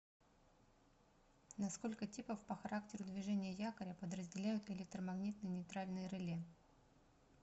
на сколько типов по характеру движения якоря подразделяют электромагнитные нейтральные реле